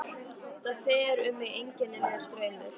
Það fer um mig einkennilegur straumur.